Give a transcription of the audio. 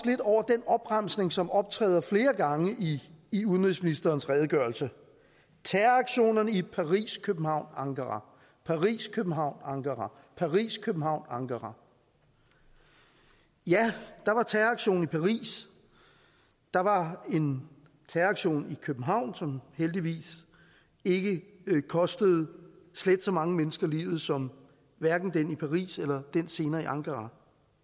lidt over den opremsning som optræder flere gange i i udenrigsministerens redegørelse terroraktionerne i paris københavn ankara paris københavn ankara paris københavn ankara ja der var terroraktion i paris der var en terroraktion i københavn som heldigvis ikke kostede slet så mange mennesker livet som den i paris eller den senere i ankara